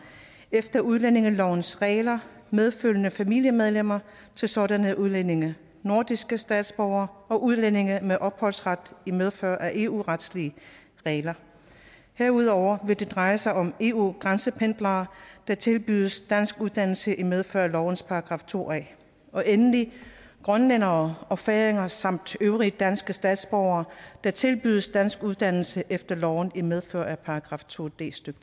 efter udlændingelovens regler medfølgende familiemedlemmer til sådanne udlændinge nordiske statsborgere og udlændinge med opholdsret i medfør af eu retlige regler herudover vil det dreje sig om eu grænsependlere der tilbydes danskuddannelse i medfør af lovens § to a og endelig grønlændere og færinger samt øvrige danske statsborgere der tilbydes danskuddannelse efter loven i medfør af § to d stykke